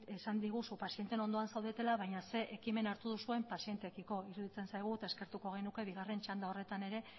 esan diguzu pazienteen ondoan zaudetela baina ze ekimen hartu duzuen pazienteekiko iruditzen zaigu eta eskertuko genuke bigarren txanda horretan ere